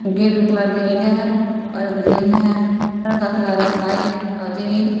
Gate का colour red है और ग्रीन है घर का कलर है व्हाइट और रेड ।